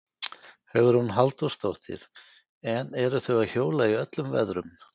Hugrún Halldórsdóttir: En eru þau að hjóla í öllum veðrum?